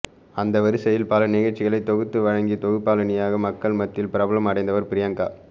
அந்த வரிசையில் பல நிகழ்ச்சிகளை தொகுத்து வழங்கி தொகுப்பாளினியாக மக்கள் மத்தியில் பிரபலம் அடைந்தவர் பிரியங்கா